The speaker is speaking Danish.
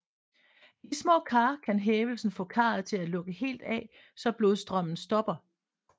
I de små kar kan hævelse få karet til at lukke helt af så blodstrømmen stopper